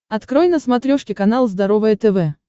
открой на смотрешке канал здоровое тв